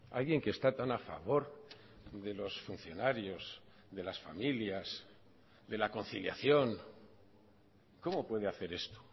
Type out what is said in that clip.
alguien que está tan a favor de los funcionarios de las familias de la conciliación cómo puede hacer esto